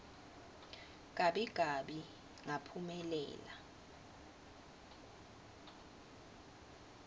gabi gabi ngaphumelela